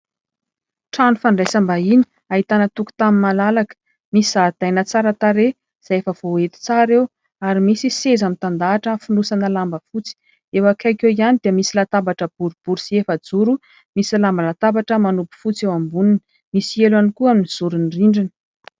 Trano fandraisambahiny ahitana tokontany malalaka. Misy zaridaina tsara tarehy izay efa voahety tsara eo ary misy seza mitandahatra fonosana lamba fotsy. Eo akaiky eo ihany dia misy latabatra boribory sy efajoro misy lambandatabatra manopo fotsy eo amboniny. Misy elo ihany koa eo amin'ny zoron'ny rindrina.